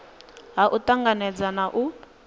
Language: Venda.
ha u tanganedza na u